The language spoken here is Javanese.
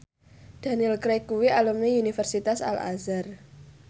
Daniel Craig kuwi alumni Universitas Al Azhar